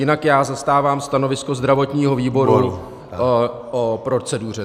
Jinak já zastávám stanovisko zdravotního výboru o proceduře.